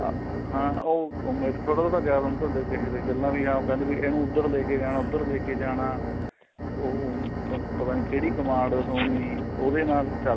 ਹਾਂ ਉਹ ਮੇਰੇ ਤੋ ਨਾ ਯਾਦ ਤੁਹਾਡੇ ਕਹੇ ਹੋਏ ਗੱਲਾਂ ਹਾਂ ਵੀ ਕਹਿੰਦੇ ਇਹਨੂੰ ਉਧਰ ਲੈਕੇ ਉਧਰ ਲੈਕੇ ਜਾਣਾ ਪਤਾ ਨਹੀਂ ਕਿਹੜੀ command ਹੋਣੀ ਉਹਦੇ ਨਾਲ